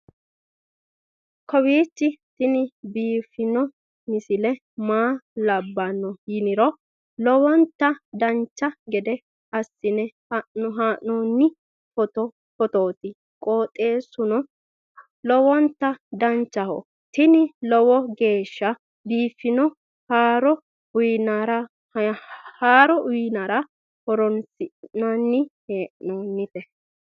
kowiicho tini biiffanno misile maa labbanno yiniro lowonta dancha gede assine haa'noonni foototi qoxeessuno lowonta danachaho. tini lowo geeshsha biiffanno haaro uyannara horoonsi'nanni hee'noonite